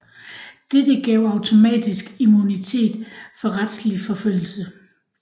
Dette gav automatisk immunitet for retslig forfølgelse